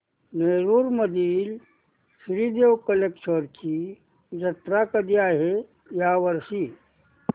नेरुर मधील श्री देव कलेश्वर ची जत्रा कधी आहे या वर्षी